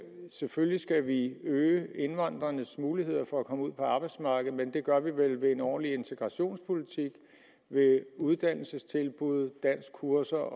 selvfølgelig skal vi øge indvandrernes mulighed for at komme ud på arbejdsmarkedet men det gør vi vel ved en ordentlig integrationspolitik ved uddannelsestilbud danskkurser